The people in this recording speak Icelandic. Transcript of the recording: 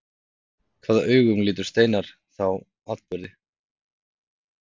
Hvaða augum lítur Steinar þá atburði?